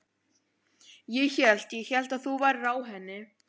Ég hélt. ég hélt að þú værir á henni.